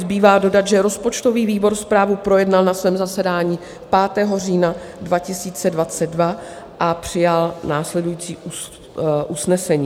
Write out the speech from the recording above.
Zbývá dodat, že rozpočtový výbor zprávu projednal na svém zasedání 5. října 2022 a přijal následující usnesení: